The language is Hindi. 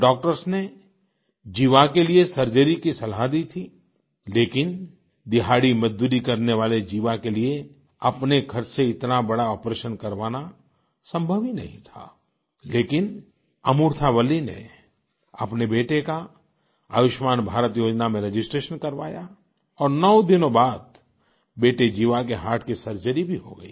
डॉक्टर्स ने जीवा के लिए सर्जरी की सलाह दी थी लेकिन दिहाड़ीमजदूरी करने वाले जीवा के लिए अपने खर्च से इतना बड़ा आपरेशन करवाना संभव ही नहीं था लेकिन अमूर्था वल्ली ने अपने बेटे का आयुष्मान भारत योजना में रजिस्ट्रेशन करवाया और नौ दिनों बाद बेटे जीवा के हर्ट की सर्जरी भी हो गई